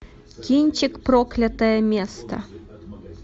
кинчик проклятое место